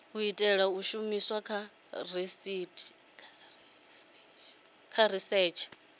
itelwa u shumiswa kha risetshe